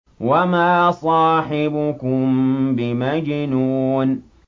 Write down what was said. وَمَا صَاحِبُكُم بِمَجْنُونٍ